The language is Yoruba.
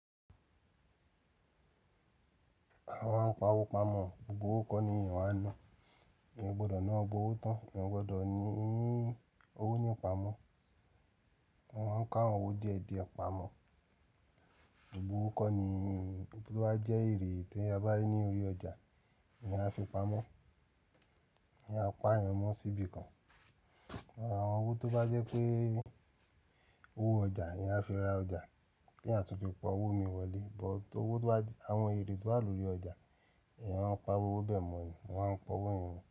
Àwa a ń pa owó pamọ́, gbogbo owó kọ́ ni èyàn máa ń náà. Èyàn o gbọ́do na gbogbo owó tán, èyàn gbọ́dọ̀ ní owó nípa mó. Mo máa ń k'owó díẹ̀ díẹ̀ pamọ́. Gbogbo owó kọ́ ni ẹni tí ó bá jẹ́ èrè tí a bá rí ní orí ọjà, èèyàn a fi pamọ́. Èèyàn a pa ìyẹn mọ́ síbi kan. Àwọn owó tó bá jẹ́ pé owó ọjà, èèyàn a fi ra ọjà tí a tún fi pa owó mi wọlé. But owó tó bá, àwọn èrè tó wà lórí ọjà, èèyàn a pa irú owó bẹ́ẹ̀ mọ́ ni wọ́n a ń pa owó yẹn ni.